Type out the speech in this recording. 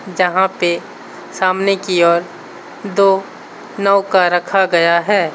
जहां पर सामने की ओर दो नौका रखा गया है।